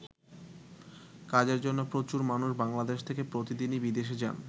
কাজের জন্য প্রচুর মানুষ বাংলাদেশ থেকে প্রতিদিনই বিদেশে যান।